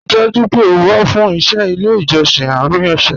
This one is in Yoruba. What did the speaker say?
Ríì dájú pé ó wà fún iṣẹ̀ ilẹ̀ ijọ̀ṣìn àárín ọ̀ṣẹ́